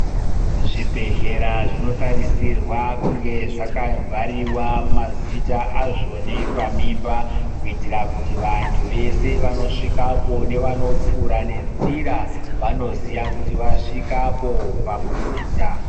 Zvibhedhlera zvinotarisirwa kunge zvakabhariwa mazita azvoni pamimba, kuitira kuti vantu vese vanosvikapo nevanopfuura nenzira, vanoziya kuti vasvikapo ,pamuzinda.